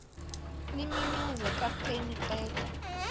limemeze kapteni qeda